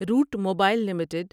route mobile limited